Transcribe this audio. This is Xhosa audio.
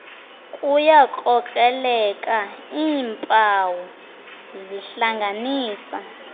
kuyakrokreleka iimpawu zihlanganisa